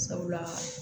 Sabula